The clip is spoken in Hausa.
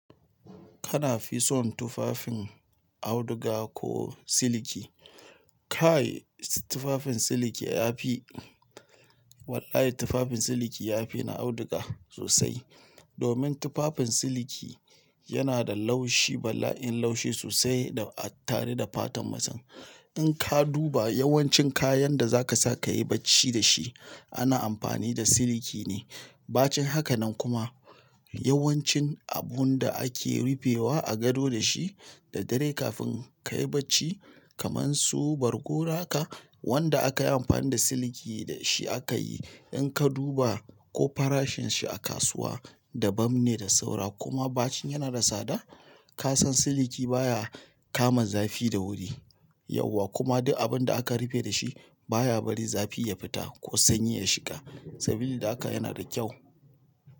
Kana fi son tufafin auduga ko siliki? Kai tufafin siliki yafi, Wallahi tufafin siliki yafi na auduga sosai. Domin tufafin siliki yana da laushi bala'in laushi sosai da a tare da fatan mutun. Inka duba yawancin kayan da za ka sa ka yi bacci dashi ana amfani da siliki ne. Ba cin haka nan kuma yawancin abun da ake rufewa a gado dashi da dare kafin ka yi bacci kaman su bargo ro ka wanda aka yi amfani da siliki dashi aka yi. In ka duba ko farashin shi a kasuwa dabam ne da saura kuma bacin yana da sada. Kasan siliki baya kama zafi da wuri, yawwa kuma du abin da ake rufe dashi baya bari zafi ya fita ko sanyi ya shiga. Sabili da haka yana da kyau.